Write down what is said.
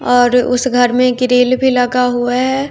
और उस घर में गिरिल भी लगा हुआ है।